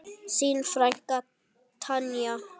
Þín frænka Tanja.